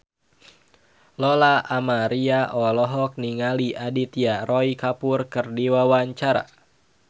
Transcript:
Lola Amaria olohok ningali Aditya Roy Kapoor keur diwawancara